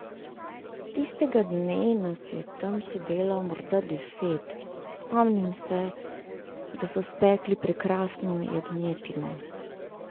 Tistega dne nas je tam sedelo morda deset, spomnim se, da so spekli prekrasno jagnjetino.